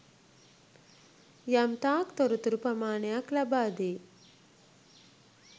යම්තාක් තොරතුරු ප්‍රමාණයක් ලබාදේ.